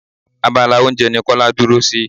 Abala oúnjẹ ní Kọ́lá dúró sí.